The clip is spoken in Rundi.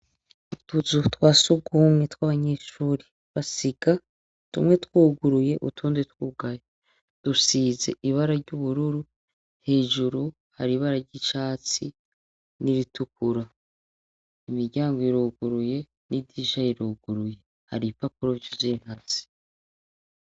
Utuzu twa sugumwe tw'abanyeshuri basiga tumwe twoguruye utonde twugaya, dusize ibara ry'ubururu hejuru hari ibara ry'icatsi n'iritukura, imiryango iroguruye n'idirisha ruriguruye hari ipapuro vyuzentatsi.